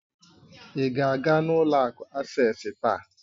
Ị ga-aga ụlọ akụ Asés taa?